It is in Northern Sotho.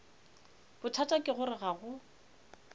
bothata ke gore ga go